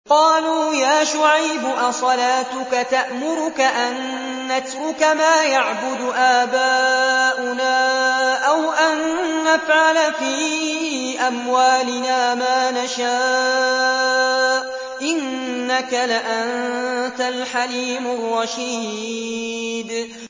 قَالُوا يَا شُعَيْبُ أَصَلَاتُكَ تَأْمُرُكَ أَن نَّتْرُكَ مَا يَعْبُدُ آبَاؤُنَا أَوْ أَن نَّفْعَلَ فِي أَمْوَالِنَا مَا نَشَاءُ ۖ إِنَّكَ لَأَنتَ الْحَلِيمُ الرَّشِيدُ